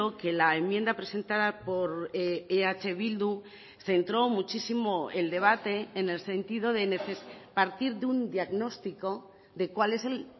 que la enmienda presentada por eh bildu centró muchísimo el debate en el sentido de partir de un diagnóstico de cuál es el